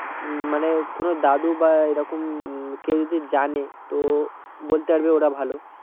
উম মানে কোনো দাদু বা এইরকম কেও যদি জানে মানে তো বলতে পারবে ওরা ভালো